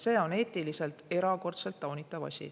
See on eetiliselt erakordselt taunitav asi.